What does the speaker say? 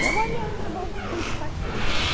Trabalhava na roça com os pais.